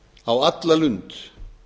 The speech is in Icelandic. á alla lund